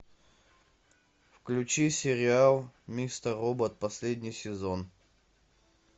включи сериал мистер робот последний сезон